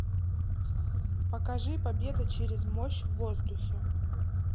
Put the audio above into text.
покажи победа через мощь в воздухе